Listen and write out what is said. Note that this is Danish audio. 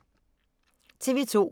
TV 2